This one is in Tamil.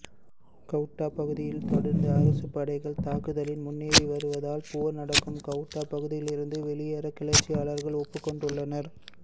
கவுட்டா பகுதியில் தொடர்ந்து அரசுப் படைகள் தாக்குதலில் முன்னேறி வருவதால் போர் நடக்கும் கவுட்டா பகுதியிலிருந்து வெளியேறக் கிளர்ச்சியாளர்கள் ஒப்புக்கொண்டுள்ளனர்